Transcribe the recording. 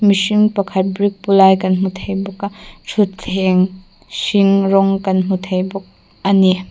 mihring pakhat brick pu lai kan hmu thei bawk a thuthleng hring rawng kan hmu thei bawk a ni.